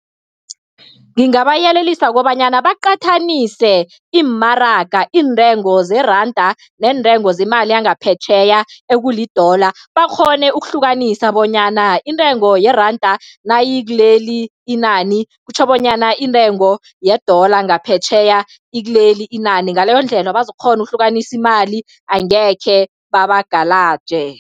Ngingabayelelisa kobanyana baqathanise, iimaraga, iintengo zeranda neentengo zemali yangaphetjheya ekuli-dollar, bakghone ukuhlukanisa bonyana intengo yeranda nayikileli inani kutjho bonyana intengo ye-dollar ngaphetjheya ikileli inani. Ngaleyondlela, bazokukghona ukuhlukanisa imali, angekhe babagalaje.